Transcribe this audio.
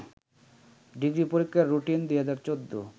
degree পরীক্ষার routine ২০১৪